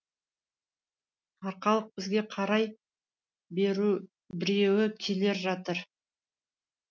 арқалық бізге қарай біреу келе жатыр